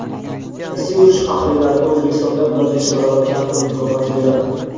Rossiya urush faxriylariga O‘zbekistondan bir necha baravar kam pul mukofoti beradi.